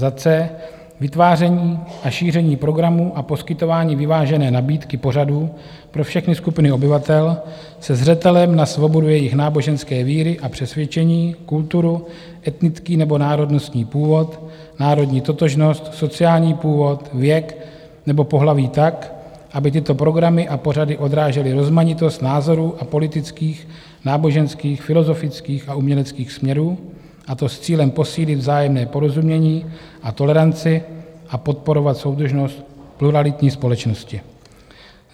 c) vytváření a šíření programů a poskytování vyvážené nabídky pořadů pro všechny skupiny obyvatel se zřetelem na svobodu jejich náboženské víry a přesvědčení, kulturu, etnický nebo národnostní původ, národní totožnost, sociální původ, věk nebo pohlaví tak, aby tyto programy a pořady odrážely rozmanitost názorů a politických, náboženských, filozofických a uměleckých směrů, a to s cílem posílit vzájemné porozumění a toleranci a podporovat soudržnost pluralitní společnosti,